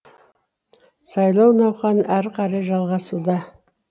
сайлау науқаны әрі қарай жалғасуда